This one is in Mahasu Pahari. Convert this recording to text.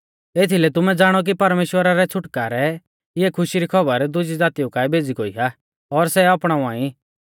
एथीलै तुमै ज़ाणौ कि परमेश्‍वरा रै छ़ुटकारै इऐ खुशी री खौबर दुजी ज़ातीऊ काऐ भेज़ी गोई आ और सै अपणावा ई